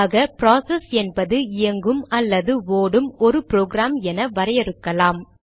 ஆக ப்ராசஸ் என்பது இயங்கும் அல்லது ஓடும் ஒரு ப்ரோக்ராம் என வரையறுக்கலாம்